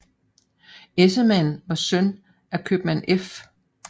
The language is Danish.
Essemann var søn af købmand F